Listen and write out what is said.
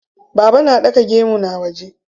Baba na ɗaka gemu na wane.